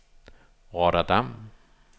Rotterdam